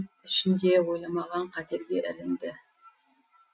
ішінде ойламаған қатерге ілінді